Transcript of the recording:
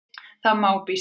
Það má.- býst ég við.